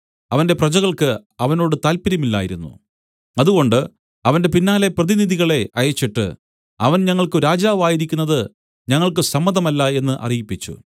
അവന്റെ പ്രജകൾക്ക് അവനോട് താല്പര്യമില്ലായിരുന്നു അതുകൊണ്ട് അവന്റെ പിന്നാലെ പ്രതിനിധികളെ അയച്ചിട്ട് അവൻ ഞങ്ങൾക്കു രാജാവായിരിക്കുന്നതു ഞങ്ങൾക്കു സമ്മതമല്ല എന്നു അറിയിപ്പിച്ചു